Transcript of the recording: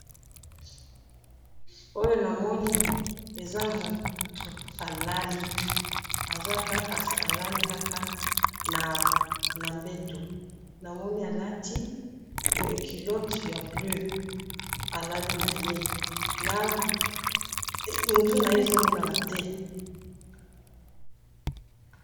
oyo na moni eza mtu a lali a lalikaka na mbetu na moni a lati kilote ya blue a lali na ye na mtu naye ezo monana te'